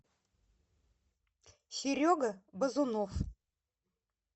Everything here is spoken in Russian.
серега базунов